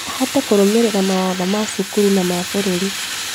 Ahote kũrũmĩrĩra mawatho ma cukuru na ma bũrũri